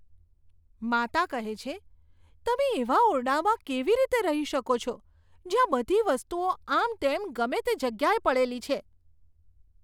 માતા કહે છે, તમે એવા ઓરડામાં કેવી રીતે રહી શકો છો, જ્યાં બધી વસ્તુઓ આમતેમ ગમે તે જગ્યાએ પડેલી છે?